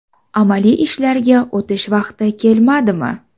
Amaliy ishlarga o‘tish vaqti kelmadimi?